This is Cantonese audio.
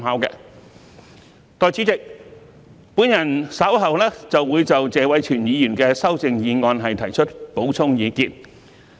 代理主席，我稍後會就謝偉銓議員的修正案提出補充意見。